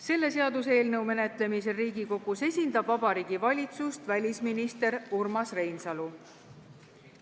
Selle seaduseelnõu menetlemisel Riigikogus esindab Vabariigi Valitsust välisminister Urmas Reinsalu.